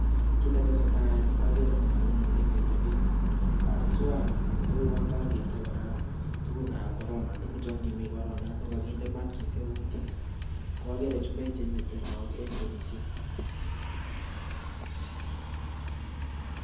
Kit netesetai en Yu agere Mwalimu neinete bik aswai oakinde koik Tuku ab Corona yangimii korona anan kokakinde maskishek kutit kwagere chumbek Chenete lagok en kurubishek